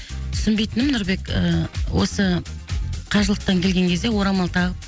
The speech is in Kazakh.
түсінбейтінім нұрбек ы осы қажылықтан келген кезде орамал тағып